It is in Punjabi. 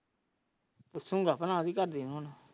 ਪੁੱਛੋਂ ਗਏ ਘਰ ਦਯਾ ਨੂੰ ਹੁਣ।